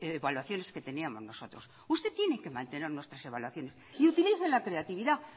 evaluaciones que teníamos nosotros usted tiene que mantener nuestras evaluaciones y utilice la creatividad